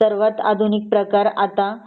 सर्वात आधुनिक प्रकार आता